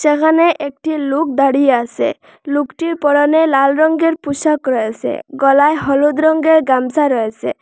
এখানে একটি লুক দাঁড়িয়ে আসে লুকটির পরনে লাল রঙ্গের পুশাক রয়েসে গলায় হলুদ রঙ্গের গামছা রয়েসে।